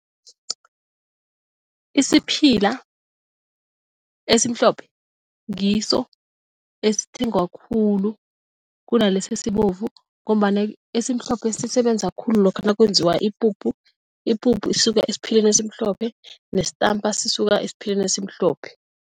Isiphila esimhlophe ngiso esithengwa khulu kunalesi esibovu ngombana esimhlophe sisebenza khulu lokha nakwenziwa ipuphu. Ipuphu isuka esiphileni esimhlophe nesitampa sisuka esiphileni esimhlophe.